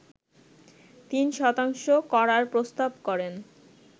৩ শতাংশ করার প্রস্তাব করেন